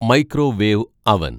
microwave അവന്‍